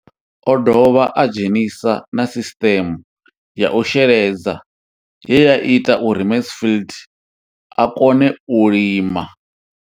O ḓo dovha a dzhenisa na sisiṱeme ya u sheledza ye ya ita uri Mansfied a kone u lima.